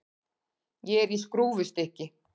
Ég er í skrúfstykki.